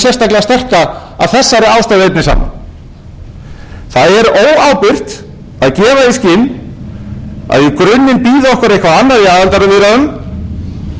komið sér saman um virðulegi forseti hæstvirtur forsætisráðherra sagði hér áðan að hún væri óviss